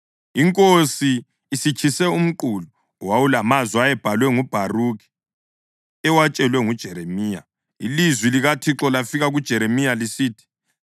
Inkosi isitshise umqulu owawulamazwi ayebhalwe nguBharukhi ewatshelwa nguJeremiya, ilizwi likaThixo lafika kuJeremiya lisithi,